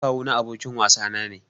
Ɗan kawu na abokin wasa na ne.